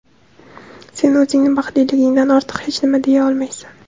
Sen o‘zingni baxtliligingdan ortiq hech nima deya olmaysan.